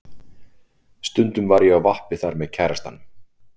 Stundum var ég á vappi þar með kærastanum.